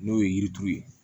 N'o ye yirituru ye